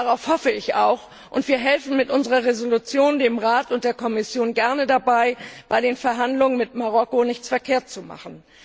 Darauf hoffe ich auch, und wir helfen mit unserer Entschließung dem Rat und der Kommission gerne dabei, bei den Verhandlungen mit Marokko nichts verkehrt zu machen.